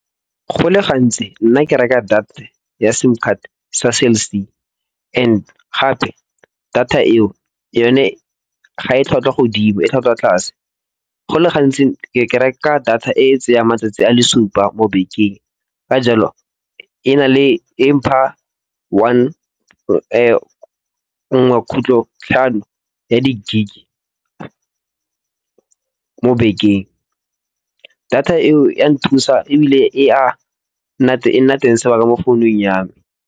Go le gantsi nna ke reka data ya sim card sa Cell C and gape data eo yone ga e tlhwatlhwa godimo e tlhwatlhwa tlase. Go le gantsi ke reka data e tseya matsatsi a le supa mo bekeng. Ka jalo, e mpha one nngwe kgutlho tlhano ya di gig mo bekeng. Data eo ya nthusa ebile e a nna teng sebaka mo founung ya me.